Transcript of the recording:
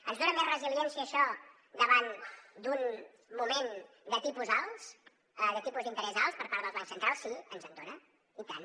ens dona més resiliència això davant d’un moment de tipus alts de tipus d’interès alts per part dels bancs centrals sí ens en dona i tant